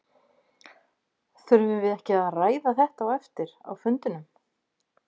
Þurfum við ekki að ræða þetta á eftir á fundinum?